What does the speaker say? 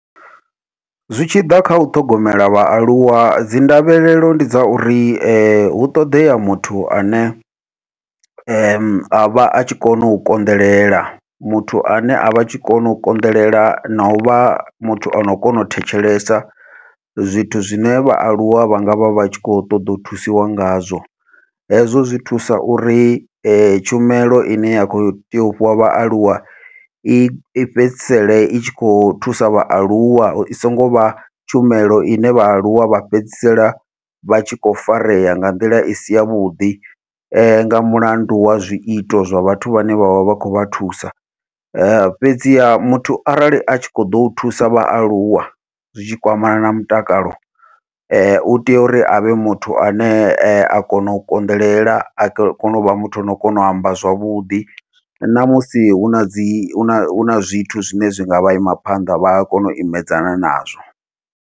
Zwi tshi ḓa kha u ṱhogomela vhaaluwa dzi ndavhelelo ndi dza uri hu ṱoḓea muthu ane avha atshi kona u konḓelela muthu ane avha atshi kona u konḓelela nau vha muthu ano kona u thetshelesa zwithu zwine vhaaluwa vha ngavha vha tshi kho ṱoḓa u thusiwa ngazwo, hezwo zwi thusa uri tshumelo ine ya khou tea u fhiwa vhaaluwa i fhedzisele i tshi kho thusa vhaaluwa i songo vha tshumelo ine vhaaluwa vha fhedzisela vha tshi kho farea nga nḓila i si yavhuḓi, nga mulandu wa zwiito zwa vhathu vhane vha vha vha khou vha thusa. Fhedziha muthu arali athi kho ḓo u thusa vhaaluwa zwitshi kwamana na mutakalo u tea uri avhe muthu ane a kona u konḓelela a kone uvha muthu ane o kona u amba zwavhuḓi namusi huna dzi huna huna zwithu zwine zwi ngavha ima phanḓa vha a kona u imedzana nazwo.